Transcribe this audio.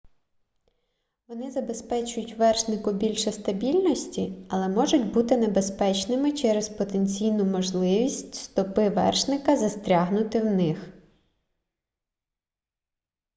вони забезпечують вершнику більше стабільності але можуть бути небезпечними через потенційну можливість стопи вершника застрягнути в них